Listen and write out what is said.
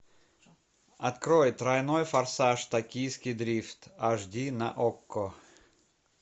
открой тройной форсаж токийский дрифт аш ди на окко